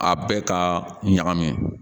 A bɛɛ ka ɲagami